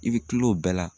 I bɛ kila o bɛɛ la